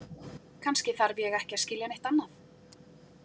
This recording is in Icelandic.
Kannski þarf ég ekki að skilja neitt annað.